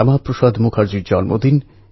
প্রায় ৭৮ লক্ষ বারকরী এতে যোগদান করেন